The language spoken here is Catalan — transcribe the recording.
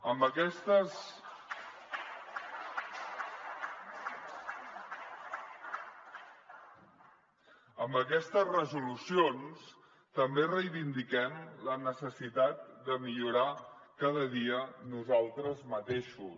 amb aquestes resolucions també reivindiquem la necessitat de millorar cada dia nosaltres mateixos